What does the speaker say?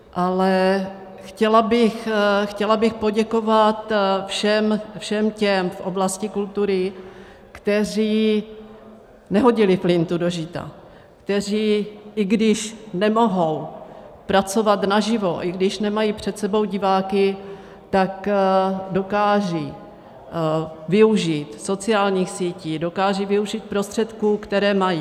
Ale chtěla bych poděkovat všem těm v oblasti kultury, kteří nehodili flintu do žita, kteří, i když nemohou pracovat naživo, i když nemají před sebou diváky, tak dokážou využít sociálních sítí, dokážou využít prostředků, které mají.